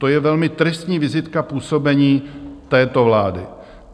To je velmi tristní vizitka působení této vlády.